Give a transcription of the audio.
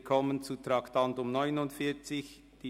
Wir kommen zu Traktandum 49.